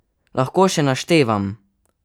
Lahko še naštevam?